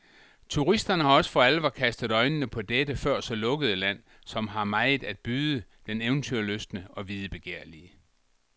Turister har også for alvor kastet øjnene på dette før så lukkede land, som har meget at byde den eventyrlystne og videbegærlige.